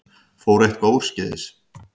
Fór eitthvað úrskeiðis?